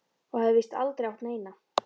Og hafði víst aldrei átt neina.